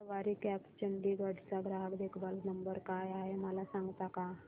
सवारी cabs Chandigarh चा ग्राहक देखभाल नंबर काय आहे मला सांगता का